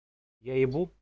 я ебу